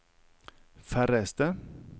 færreste